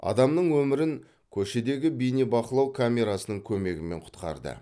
адамның өмірін көшедегі бейнебақылау камерасының көмегімен құтқарды